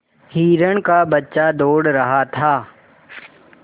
हिरण का बच्चा दौड़ रहा था